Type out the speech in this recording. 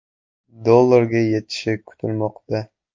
dollarga yetishi kutilmoqda.